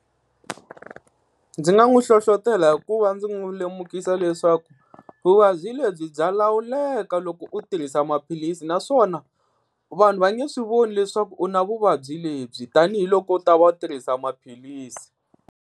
Ndzi nga n'wi hlohlotela hikuva ndzi n'wi lemukisa leswaku vuvabyi lebyi bya lawuleka loko u tirhisa maphilisi, naswona vanhu va nge swi voni leswaku u na vuvabyi lebyi tanihiloko u ta va u tirhisa maphilisi.